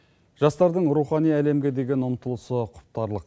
жастардың рухани әлемге деген ұмтылысы құптарлық